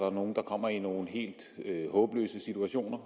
er nogle der kommer i nogle helt håbløse situationer